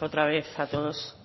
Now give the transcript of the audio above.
otra vez a todos